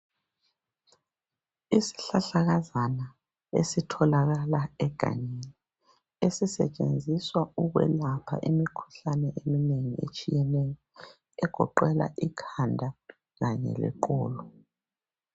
Izihlahlakazana esitholakala egangeni esisetshenziswa ukwelapha imikhuhlane eminengi etshiyeneyo egoqela ikhanda khanye leqolo.